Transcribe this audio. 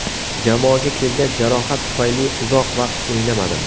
Jamoaga kelgach, jarohat tufayli uzoq vaqt o‘ynamadim.